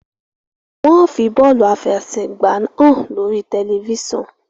wan fí bọọlu afẹsẹgba hàn lórí tẹlifísàn.